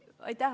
Aitäh!